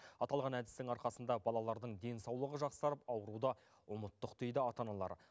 аталған әдістің арқасында балалардың денсаулығы жақсарып ауруды ұмыттық дейді ата аналар